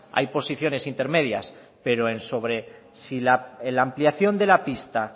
hay posiciones intermedias pero en sobre si la ampliación de la pista